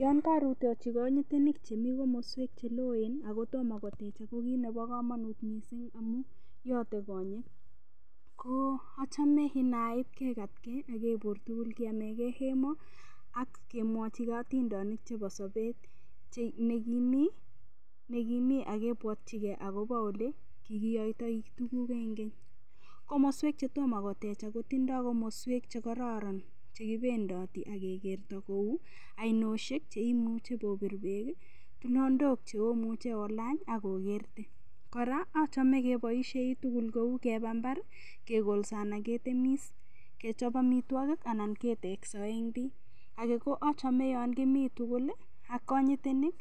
Yon karutochi kanyitonik chemi komoswek cheloen akotomo kotechak ko kit nebo kamonut mising' amu yotei konyek ko a home nait kekatkei akebur tugul keamekei emo akemwochigei otindonik chebo sobet nekimi akebwotchigei ole kikiyoitoi tukuk eng' keny komoswek chetomo kotekak kotindoi komoswek chekororon chekipendoti akekerto kou ainoshek cheimuchi popir beek tulondok cheomuche olany akokerte kora achome keboishei tugul kou kepa mbar kekolso anan ketemis kechop omitwokik anan ketekso ek pei ake koachome yon kimi tugul ak konyitenik